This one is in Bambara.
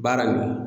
Baara in